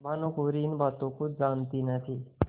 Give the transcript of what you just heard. भानुकुँवरि इन बातों को जानती न थी